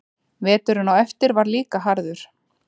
Veturinn á eftir var líka harður.